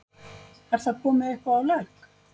Er það komið eitthvað á legg?